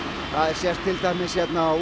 það sést til dæmis hérna á